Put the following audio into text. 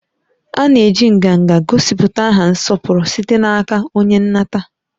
A na-eji nganga gosipụta aha nsọpụrụ site n'aka onye nnata